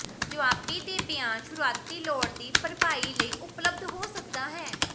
ਜਵਾਬੀ ਦੇ ਬਿਆਨ ਸ਼ੁਰੂਆਤੀ ਲੋੜ ਦੀ ਭਰਪਾਈ ਲਈ ਉਪਲੱਬਧ ਹੋ ਸਕਦਾ ਹੈ